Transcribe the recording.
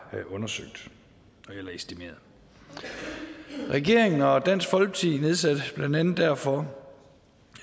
estimeret regeringen og dansk folkeparti nedsatte blandt andet derfor